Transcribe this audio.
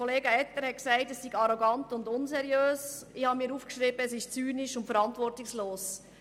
Kollega Etter hat gesagt, es sei arrogant und unseriös, ich selber habe mir aufgeschrieben, es sei zynisch und verantwortungslos.